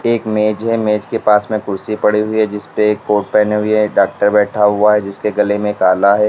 एक मेज है मेज के पास में कुर्सी पड़ी हुई है जिसपे एक कोट पहने हुए डॉक्टर बैठा हुआ है जिसके गले में आला है।